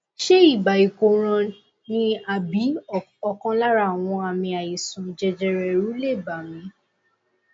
ṣé ibà ìkóràn ni àbí ọkan lára àwọn àmì àìsàn jẹjẹrẹ èrù lè bà mí